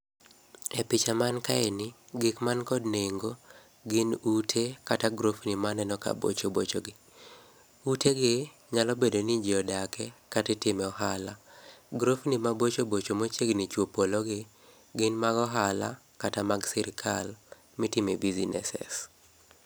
E picha mankae ni gik man kod nengo gin ute kata grofni maneno ka bocho bochogi. Utegi nyalo bedo ni jii odake kata itime ohala. Grofni mabocho bocho machiegni chuo polo gi, gin mag ohala, kata mag sirkal mitime businesses.